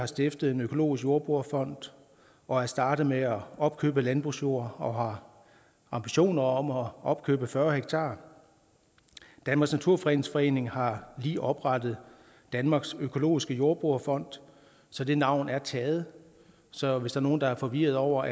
stiftet en økologisk jordbrugerfond og er startet med at opkøbe landbrugsjord og har ambitioner om at opkøbe fyrre ha danmarks naturfredningsforening har lige oprettet danmarks økologiske jordbrugerfond så det navn er taget så hvis der er nogen der er forvirrede over